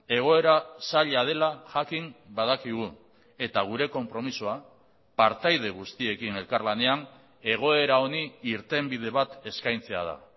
egoera zaila dela jakin badakigu eta gure konpromisoa partaide guztiekin elkarlanean egoera honi irtenbide bat eskaintzea da